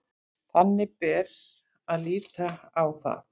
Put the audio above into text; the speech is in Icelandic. Þannig bera að líta á það